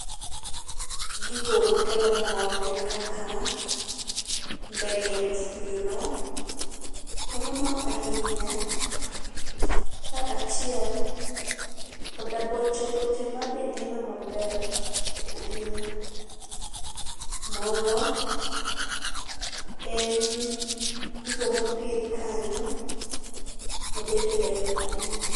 Gigo makelo mor gin kaka ndege mafuyo no kelo mor ahinya kachiel koda boche boche mabe neno maber ahinya. Moro en gigo mopidh kanyo mabe ber ahinya